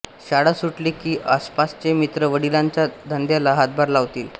शाळा सुटली की आसपासचे मित्र वडिलांच्या धंद्याला हातभार लावीत